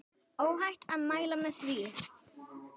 Óhætt að mæla með því.